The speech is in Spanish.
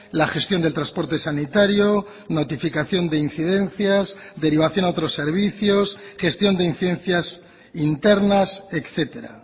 la gestión del transporte sanitario notificación de incidencias derivación a otros servicios gestión de incidencias internas etcétera